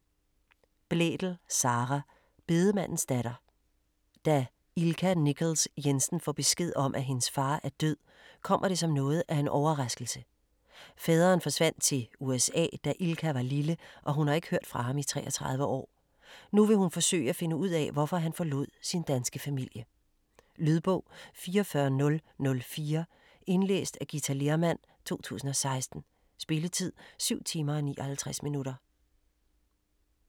Blædel, Sara: Bedemandens datter Da Ilka Nichols Jensen får besked om, at hendes far er død, kommer det som noget af en overraskelse. Faderen forsvandt til USA, da Ilka var lille og hun har ikke hørt fra ham i 33 år. Nu vil hun forsøge at finde ud af, hvorfor han forlod sin danske familie. Lydbog 44004 Indlæst af Githa Lehrmann, 2016. Spilletid: 7 timer, 59 minutter.